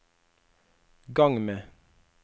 gang med